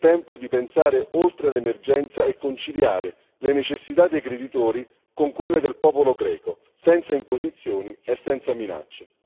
È tempo di pensare oltre l'emergenza e conciliare le necessità dei creditori con quelle del popolo greco, senza imposizioni e senza minacce.